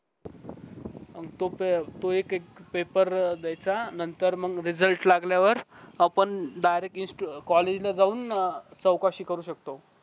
तो एक एक पेपर देयचा नंतर मंग Result लागल्यावर आपण direct intu अं college जाऊन चौकशी करू शकतो